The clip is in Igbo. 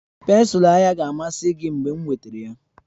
Pensụl anya ga-amasị gị mgbe m wetara ha